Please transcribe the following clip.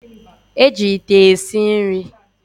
E ji ite esi nri